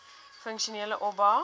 funksionele oba